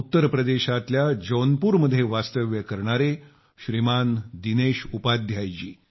उत्तर प्रदेशातल्या जौनपूरमध्ये वास्तव्य करणारे श्रीमान दिनेश उपाध्याय जी